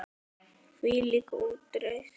Hvílík útreið!